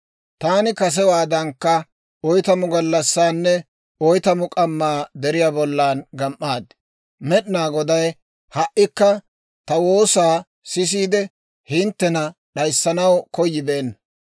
«Taani kasewaadankka oytamu gallassaanne oytamu k'ammaa deriyaa bollan gam"aad; Med'inaa Goday ha"ikka ta woosaa sisiide, hinttena d'ayissanaw koyibeenna.